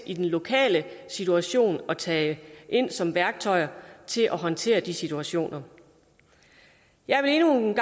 i den lokale situation er tage ind som værktøjer til at håndtere de situationer jeg vil endnu en